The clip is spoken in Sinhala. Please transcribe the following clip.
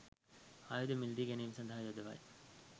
ආයුධ මිලදී ගැනීම සඳහා යොදවයි